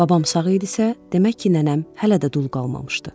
Babam sağ idisə, demək ki, nənəm hələ də dul qalmamışdı.